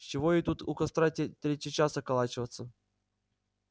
с чего ей тут у костра те третий час околачиваться